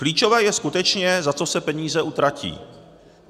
Klíčové je skutečně, za co se peníze utratí.